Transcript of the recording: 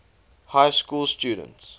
high school students